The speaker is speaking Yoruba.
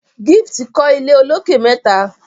Gift kò ilé olokè mẹta.